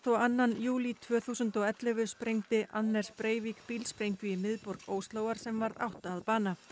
og annan júlí tvö þúsund og ellefu sprengdi Anders Breivik í miðborg Óslóar sem varð átta að bana